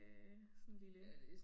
Øh sådan lille